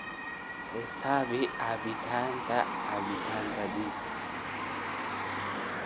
xisaabi caabbinta caabbinta this